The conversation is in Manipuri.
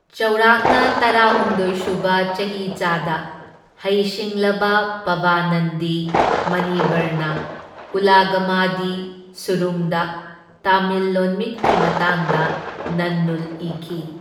ꯆꯥꯎꯔꯥꯛꯅ ꯇꯔꯥꯍꯨꯝꯗꯣꯢ ꯁꯨꯕ ꯆꯍꯤꯆꯥꯗ ꯍꯩ ꯁꯤꯡꯂꯕ ꯄꯕꯅꯟꯗꯤ ꯃꯨꯅꯤꯕꯔꯅ ꯎꯂꯒꯃꯗꯤ ꯁꯨꯔꯨꯡꯗ ꯇꯥꯃꯤꯜ ꯂꯣꯟꯃꯤꯠꯀꯤ ꯃꯇꯥꯡꯗ ꯅꯟꯅꯨꯜ ꯏꯈꯤ꯫